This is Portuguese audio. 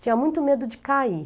Tinha muito medo de cair.